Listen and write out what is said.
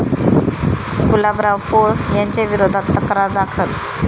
गुलाबराव पोळ यांच्याविरोधात तक्रार दाखल